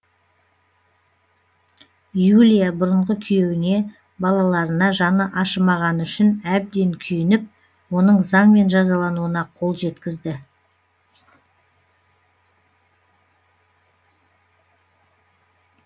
юлия бұрынғы күйеуіне балаларына жаны ашымағаны үшін әбден күйініп оның заңмен жазалануына қол жеткізді